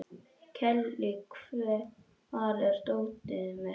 Kellý, hvar er dótið mitt?